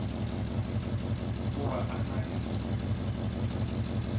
o ba a na le